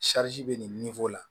bɛ nin la